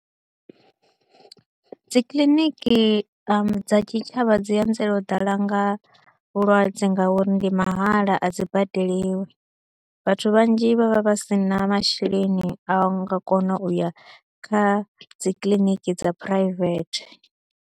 Dzi kiḽiniki dza tshitshavha dzi anzela u ḓala nga vhalwadze ngauri ndi mahala a dzi badeliwi, vhathu vhanzhi vha vha vha si na masheleni a u nga kona u ya kha dzi kiḽiniki dza phuraivethe.